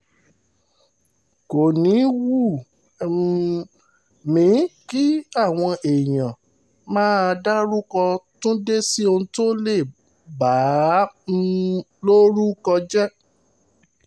kò ní í wù um mí kí àwọn èèyàn máa dárúkọ túndé sí ohun tó lè bà á um lórúkọ jẹ́